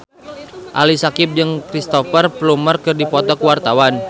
Ali Syakieb jeung Cristhoper Plumer keur dipoto ku wartawan